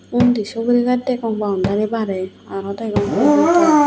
undi suguri gaas degong boundary barey aro degong hihi gaas de.